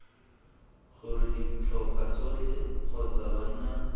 gore ditlhopha tsotlhe kgotsa banna